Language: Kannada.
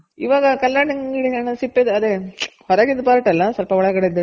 ಇವಾಗ ಕಲ್ಲಂಗಡಿ ಹಣ್ಣುದ್ ಸಿಪ್ಪೆದು ಅದೆ ಹೊರಗಿದ್ part ಅಲ್ಲ ಸ್ವಲ್ಪ ಒಳಗಡೆದು